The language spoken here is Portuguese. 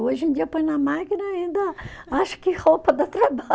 Hoje em dia, põe na máquina e ainda, acho que roupa dá trabalho.